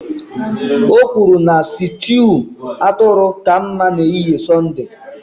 O kwuru na sịtịụ atụrụ ka mma maka ehihie Sọnde